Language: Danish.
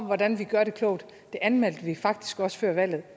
hvordan vi gør det klogt det anmeldte vi faktisk også før valget